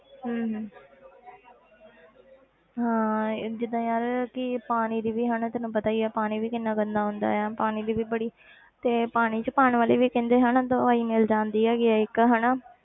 ਹਮ ਹਮ ਹਾਂ ਇਹ ਜਿੱਦਾਂ ਯਾਰ ਕੀ ਪਾਣੀ ਦੀ ਵੀ ਹਨਾ ਤੈਨੂੰ ਪਤਾ ਹੀ ਆ ਪਾਣੀ ਵੀ ਕਿੰਨਾ ਗੰਦਾ ਹੁੰਦਾ ਹੈ ਪਾਣੀ ਦੀ ਵੀ ਬੜੀ ਤੇ ਪਾਣੀ 'ਚ ਪਾਉਣ ਵਾਲੀ ਵੀ ਕਹਿੰਦੇ ਹਨਾ ਦਵਾਈ ਮਿਲ ਜਾਂਦੀ ਹੈਗੀ ਹੈ ਇੱਕ ਹਨਾ।